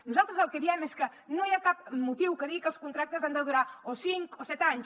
nosaltres el que diem és que no hi ha cap motiu que digui que els contractes han de durar o cinc o set anys